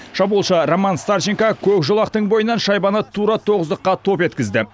шабуылшы роман старченко көк жолақтың бойынан шайбаны тура тоғыздыққа топ еткізді